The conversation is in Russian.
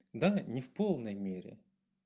да не в полной мере